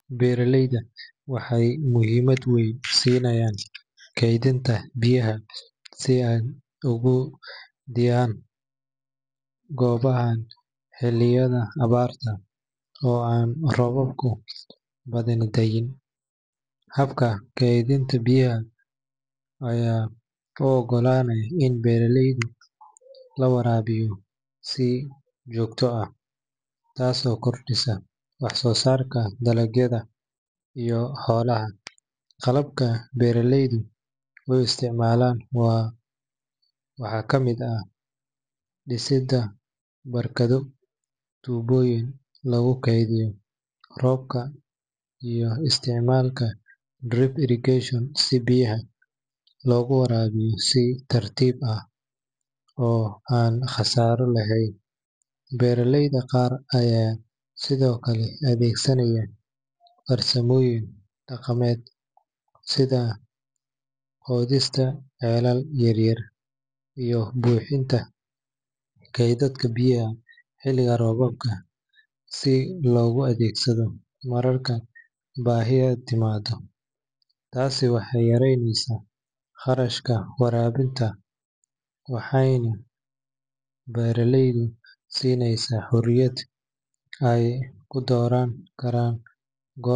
Beeraleyda waxay muhiimad weyn siinayaan kaydinta biyaha si ay ugu diyaar garoobaan xilliyada abaarta oo aan roobab badani da’in. Habka kaydinta biyaha ayaa u oggolaanaya in beeraha lagu waraabiyo si joogto ah, taasoo kordhisa wax-soosaarka dalagyada iyo xoolaha. Qaababka beeraleydu u isticmaalaan waxaa ka mid ah dhisidda barkado, tuubooyin lagu kaydiyo roobka, iyo isticmaalka drip irrigation si biyaha loogu waraabiyo si tartiib tartiib ah oo aan khasaaro lahayn. Beeraleyda qaar ayaa sidoo kale adeegsanaya farsamooyin dhaqameed sida qodista ceelal yaryar iyo buuxinta kaydadka biyaha xilliga roobka si loogu adeegsado marka baahi timaado. Taasi waxay yaraynaysaa kharashka waraabka waxayna beeraleyda siinaysaa xorriyad ay ku dooran karaan goorta.